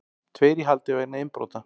Tveir í haldi vegna innbrota